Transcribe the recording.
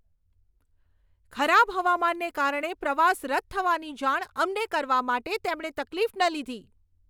ખરાબ હવામાનને કારણે પ્રવાસ રદ થવાની જાણ અમને કરવા માટે તેમણે તકલીફ ન લીધી.